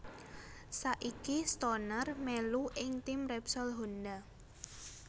Saiki Stoner melu ing tim Repsol Honda